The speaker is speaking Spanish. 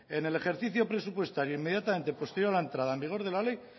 en el ejercicio presupuestario inmediatamente posterior a la entrada en vigor de la ley